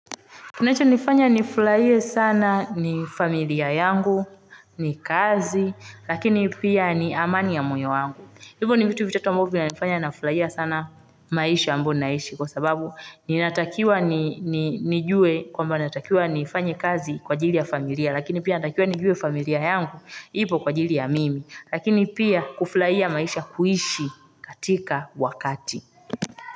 Kinacho nifanya nifurahie sana ni familia yangu, ni kazi, lakini pia ni amani ya mwoyo wangu. Hivyo ni vitu vitatu ambavyo vinanifanya nafurahia sana maisha ambayo ninaishi kwa sababu ninatakiwa nijue kwamba natakiwa nifanye kazi kwa ajili ya familia, lakini pia natakiwa nijue familia yangu ipo kwa ajili ya mimi. Lakini pia kufurahia maisha kuishi katika wakati.